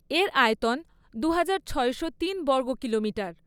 এর আয়তন দুহাজার ছয়শো তিন বর্গ কিলোমিটার।